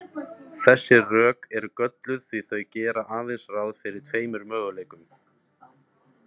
Þessi rök eru gölluð því að þau gera aðeins ráð fyrir tveim möguleikum.